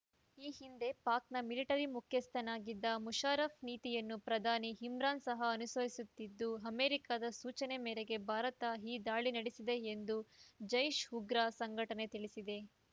ಈ ಹಿಂದೆ ಪಾಕ್ ನ ಮಿಲಿಟರಿ ಮುಖ್ಯಸ್ಥನಾಗಿದ್ದ ಮುಷರಫ್ ನೀತಿಯನ್ನು ಪ್ರಧಾನಿ ಇಮ್ರಾನ್ ಸಹ ಅನುಸರಿಸುತ್ತಿದ್ದು ಅಮೇರಿಕಾದ ಸೂಚನೆ ಮೇರೆಗೆ ಭಾರತ ಈ ದಾಳಿ ನಡೆಸಿದೆ ಎಂದು ಜೈಶ್ ಉಗ್ರ ಸಂಘಟನೆ ತಿಳಿಸಿದೆ